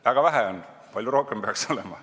Väga vähe on, palju rohkem peaks olema.